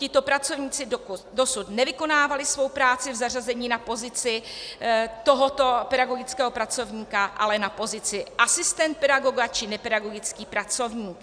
Tito pracovníci dosud nevykonávali svou práci v zařazení na pozici tohoto pedagogického pracovníka, ale na pozici asistent pedagoga či nepedagogický pracovník.